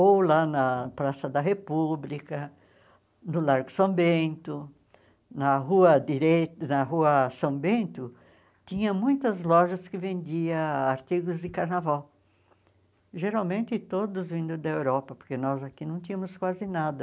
ou lá na Praça da República, no Largo São Bento, na Rua Direita na Rua São Bento, tinha muitas lojas que vendiam artigos de carnaval, geralmente todos vindo da Europa, porque nós aqui não tínhamos quase nada.